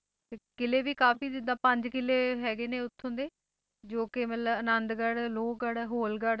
ਕਿਲ੍ਹੇ ਵੀ ਕਾਫ਼ੀ ਜਿੱਦਾਂ ਪੰਜ ਕਿਲ੍ਹੇ ਹੈਗੇ ਨੇ ਉੱਥੋਂ ਦੇ ਜੋ ਕਿ ਮਤਲਬ ਆਨੰਦਗੜ੍ਹ, ਲੋਹਗੜ੍ਹ, ਹੋਲਗੜ੍ਹ,